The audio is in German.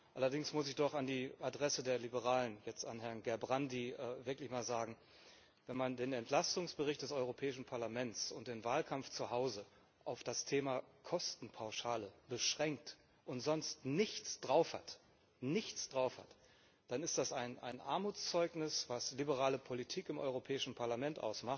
Allerdings muss ich doch an die Adresse der Liberalen, jetzt an Herrn Gerbrandy, wirklich sagen Wenn man den Entlastungsbericht des Europäischen Parlaments und den Wahlkampf zu Hause auf das Thema Kostenpauschale beschränkt und sonst nichts drauf hat, dann ist das ein Armutszeugnis, was liberale Politik im Europäischen Parlament